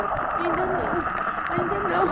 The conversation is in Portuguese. E eu, ainda não, ainda não.